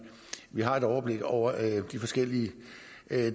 har et overblik over de forskellige